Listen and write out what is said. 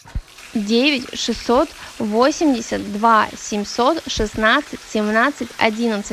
девять шестьсот восемьдесят два семьсот шестнадцать семнадцать одиннадцать